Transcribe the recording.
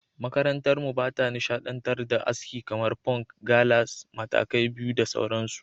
Makarantarmu ba ta nishadantar da aski kamar; Punk, Gallas, Matakai Biyu da sauransu.